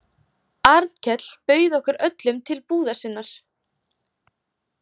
Arnkell bauð okkur öllum til búðar sinnar.